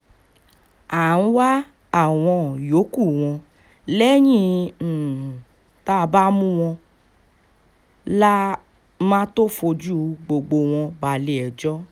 à ń wá àwọn yòókù wọn lẹ́yìn um tá a bá mú wọn la um máa tóó fojú gbogbo wọn balẹ̀-ẹjọ́